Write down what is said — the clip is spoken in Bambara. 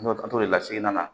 An t'o la seginna